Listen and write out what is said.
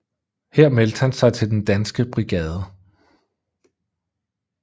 Her meldte han sig til Den Danske Brigade